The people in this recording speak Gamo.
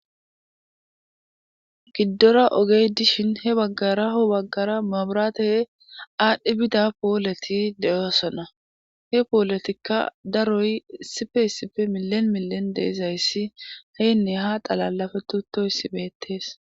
Giddora ogey dishin he baggara baggara maabraate aadhdhi bida pooleti de7oosona he pooletikka daroy sifeysipfe milen milen deezayssi heenne ha xalalafe tuttoyssi beettees.